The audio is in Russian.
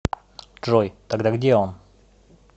джой тогда где он